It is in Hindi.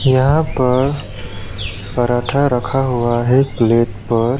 यहां पर पराठा रखा हुआ है प्लेट पर।